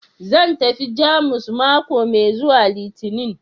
Zan tafi Jamus mako mai zuwa Litinin